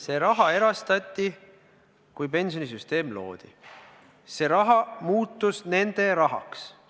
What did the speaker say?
See raha erastati, kui pensionisüsteem loodi, see raha muutus nende rahaks.